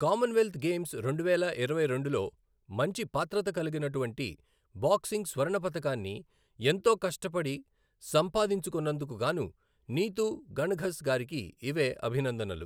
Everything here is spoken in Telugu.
కామన్ వెల్థ్ గేమ్స్ రెండువేల ఇరవై రెండులో మంచి పాత్రత కలిగినటువంటి బాక్సింగ్ స్వర్ణ పతకాన్ని ఎంతో కష్టపడి సంపాదించుకొన్నందుకు గాను నీతూ ఘణ్ ఘస్ గారికి ఇవే అభినందనలు.